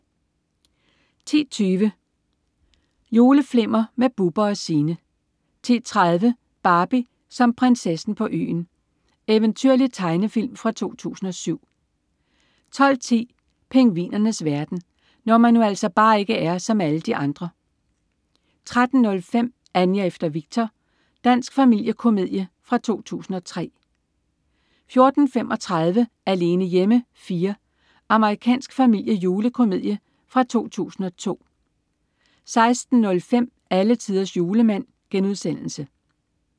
10.20 Juleflimmer med Bubber & Signe 10.30 Barbie som Prinsessen på Øen. Eventyrlig tegnefilm fra 2007 12.10 Pingvinernes verden. Når man nu altså bare ikke er som alle de andre! 13.05 Anja efter Viktor. Dansk familiekomedie fra 2003 14.35 Alene hjemme 4. Amerikansk familiejulekomedie fra 2002 16.05 Alletiders Julemand*